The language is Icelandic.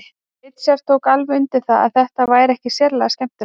Richard tók alveg undir það að þetta væri ekki sérlega skemmtilegt.